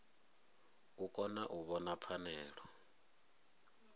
u kona u vhona pfanelo